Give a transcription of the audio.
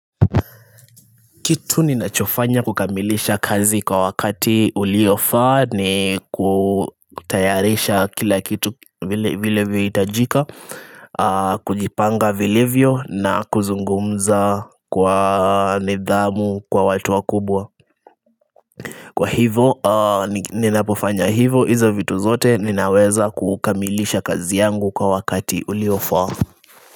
Kitu ninachofanya kukamilisha kazi kwa wakati uliofaa ni kutayarisha kila kitu vile vih itajika kujipanga vilivyo na kuzungumza kwa nidhamu kwa watu wa kubwa Kwa hivyo ninapofanya hivyo hizo vitu zote ninaweza kukamilisha kazi yangu kwa wakati uliofaa.